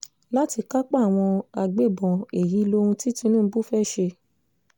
láti kápá àwọn àgbébọ̀ èyí lóhun tí tinubu fẹ́ẹ́ ṣe